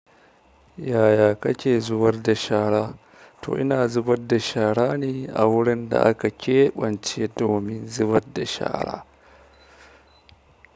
Yaya kake zuwar da shara? To ina zubar da shara ne a wurin da aka keɓance domin zubar da shara.